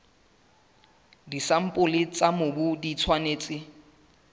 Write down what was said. disampole tsa mobu di tshwanetse